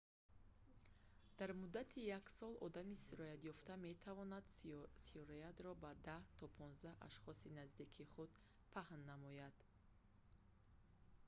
дар муддати як сол одами сироятёфта метавонад сироятро ба 10 то 15 ашхоси наздики худ паҳн намояд